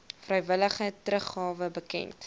vrywillige teruggawe bekend